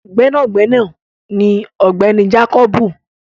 Gbẹ́nàgbẹ́nà ni ọ̀gbẹ́ni jákọ́bù